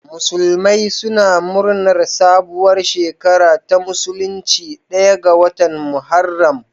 Musulmai suna murnar sabuwar shekara ta musulunci ɗaya ga watan Muharram.